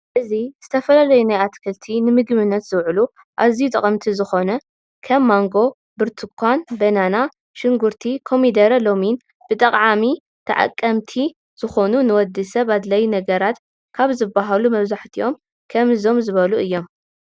እዚ ዝተፈላላዩ ናይ ኣትክልቲ ንምግብነት ዝውዕሉ ኣዝዩ ጠቀምቲ ዝኮን ከም ማንጎ፣ ቡርትዃ ፣በነና ፣ሽግርቲ፣ ኮሚደረ ሎሚን ፣ብጠዓሚ ተቀምቲ ዝኮኑ ንወድሰብ ኣድላይ ነገራት ከብ ዝባሃሉ መብዛሕትኦም ከም ዝኦም ዝበሉ እዮም።